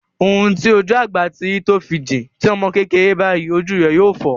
Ohun tí ojú àgbà rí tó fi jìn, ti ọmọ kékeré bá ríi ojú rẹ yóò fọ́.